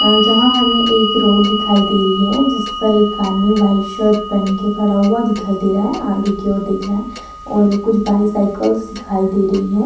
अ यहां हमे एक रोड दिखाई दे रही है जिस पर एक आदमी व्हाइट शर्ट पहन के खड़ा हुआ दिखाई दे रहा है आगे की और देख रहा है और कुछ बायसाइकल्स दिखाई दे रही है।